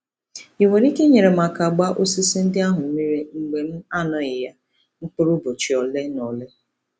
Ị nwere ike inyere m aka gbaa osisi ndị ahụ mmiri mgbe m anoghị ya mkpụrụ ụbọchị ole na ole?